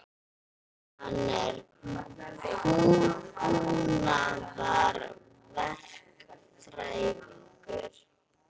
Hann er hugbúnaðarverkfræðingur.